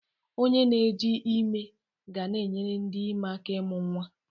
Onye na-eji ime ga na-enyere ndị ime aka ịmụ nwa.